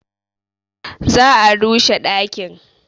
Za a rushe ɗakin.